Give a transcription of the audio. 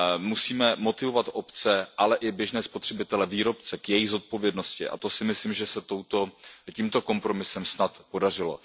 Musíme motivovat obce, ale i běžné spotřebitele, výrobce k jejich zodpovědnosti a to si myslím, že se tímto kompromisem snad podařilo.